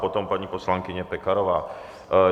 Potom paní poslankyně Pekarová.